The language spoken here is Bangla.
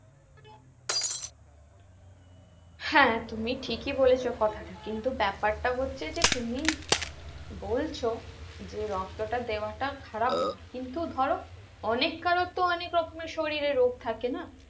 হ্যাঁ তুমি ঠিকই বলেছো কথাটা কিন্তু ব্যাপারটা হচ্ছে যে তুমি বলছো যে রক্তটা দেওয়াটা খারাপ নয় কিন্তু ধরো অনেক কারোর তো অনেক রকমের শরীরে রোগ থাকে না